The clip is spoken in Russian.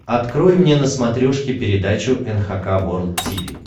открой мне на смотрешке передачу эн эйч кей волд ти ви